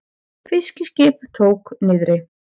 Fiskiskip tók niðri